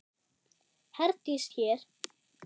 Herdís hér.